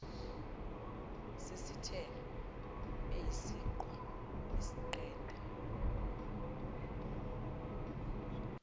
sesithelo esiyiqhwa isiqeda